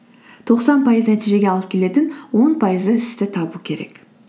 тоқсан пайыз нәтижеге алып келетін он пайызды істі табу керек